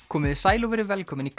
komiði sæl og verið velkomin í